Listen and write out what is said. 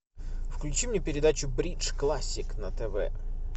включи мне передачу бридж классик на тв